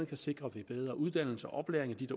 kan sikre ved bedre uddannelse og oplæring